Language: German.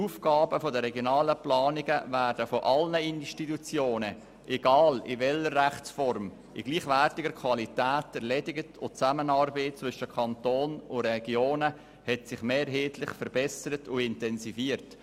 Die Aufgaben der regionalen Planungen werden von allen Institutionen ungeachtet der Rechtsform in gleichwertiger Qualität erledigt, und die Zusammenarbeit zwischen dem Kanton und den Regionen hat sich mehrheitlich verbessert und intensiviert.